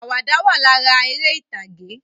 Àwàdà wà lára eré ìtàgè